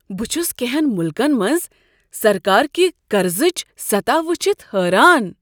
بہٕ چھس کٮ۪نٛہن ملکن منٛز سرکار كہِ قرضٕچ سطح وٕچھتھ حٲران۔